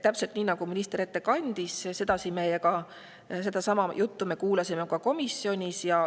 Täpselt nii, nagu kandis minister seda ette siin, kuulsime meie sedasama juttu ka komisjonis.